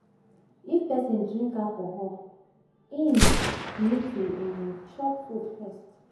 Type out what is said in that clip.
Before person drink alcohol im need to um chop food first